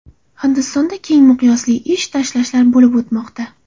Hindistonda keng miqyosli ish tashlashlar bo‘lib o‘tmoqda.